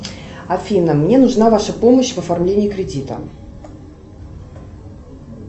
афина мне нужна ваша помощь в оформлении кредита